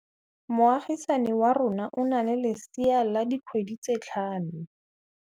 Moagisane wa rona o na le lesea la dikgwedi tse tlhano.